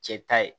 Cɛ ta ye